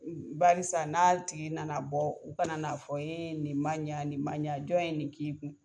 Barisa n'a tigi nana bɔ u kana na fɔ nin man ɲa nin man ɲa jɔn ye nin k'i kun?